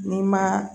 N'i ma